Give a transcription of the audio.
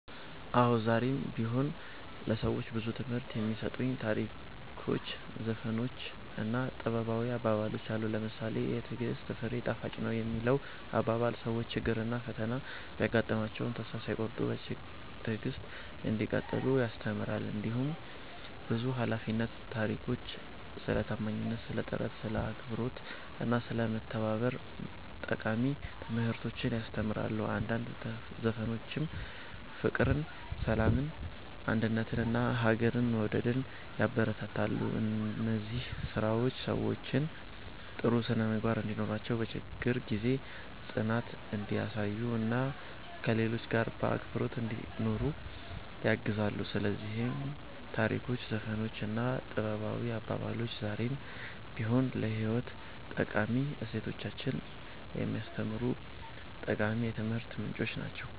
አዎ፣ ዛሬም ቢሆን ለሰዎች ብዙ ትምህርት የሚሰጡ ታሪኮች፣ ዘፈኖች እና ጥበባዊ አባባሎች አሉ። ለምሳሌ ‘የትዕግሥት ፍሬ ጣፋጭ ነው’ የሚለው አባባል ሰዎች ችግርና ፈተና ቢያጋጥማቸውም ተስፋ ሳይቆርጡ በትዕግሥት እንዲቀጥሉ ያስተምራል። እንዲሁም ብዙ ባህላዊ ታሪኮች ስለ ታማኝነት፣ ስለ ጥረት፣ ስለ አክብሮት እና ስለ መተባበር ጠቃሚ ትምህርቶችን ያስተምራሉ። አንዳንድ ዘፈኖችም ፍቅርን፣ ሰላምን፣ አንድነትን እና ሀገርን መውደድን ያበረታታሉ። እነዚህ ስራዎች ሰዎች ጥሩ ስነ-ምግባር እንዲኖራቸው፣ በችግር ጊዜ ጽናት እንዲያሳዩ እና ከሌሎች ጋር በአክብሮት እንዲኖሩ ያግዛሉ። ስለዚህ ታሪኮች፣ ዘፈኖች እና ጥበባዊ አባባሎች ዛሬም ቢሆን ለህይወት ጠቃሚ እሴቶችን የሚያስተምሩ ጠቃሚ የትምህርት ምንጮች ናቸው።"